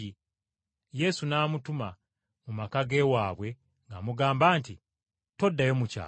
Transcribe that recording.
Yesu n’amutuma mu maka g’ewaabwe ng’amugamba nti, “Toddayo mu kyalo.”